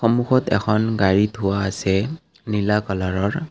সন্মুখত এখন গাড়ী থোৱা আছে নীলা কালাৰৰ।